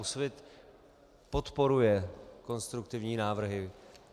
Úsvit podporuje konstruktivní návrhy.